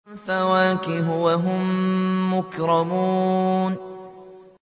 فَوَاكِهُ ۖ وَهُم مُّكْرَمُونَ